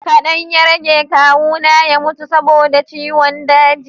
kadan ya rage kawu na ya mutu saboda ciwon daji